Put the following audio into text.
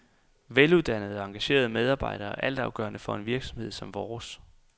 Veluddannede og engagerede medarbejdere er altafgørende for en virksomhed som vores.